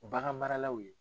O bagan maralaw ye